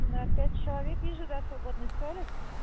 на пять человек вижу да свободный столик